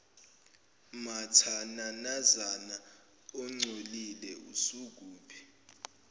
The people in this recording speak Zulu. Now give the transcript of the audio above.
mathananazana ongcolile usukuphi